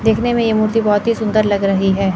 देखने में यह मूर्ति बहोत ही सुंदर लग रही है।